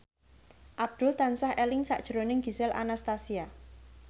Abdul tansah eling sakjroning Gisel Anastasia